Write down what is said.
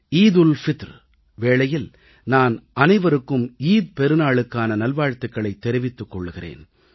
ரமலான் பண்டிகை வேளையில் நான் அனைவருக்கும் ஈகை திருநாளுக்கான நல்வாழ்த்துகளைத் தெரிவித்துக் கொள்கிறேன்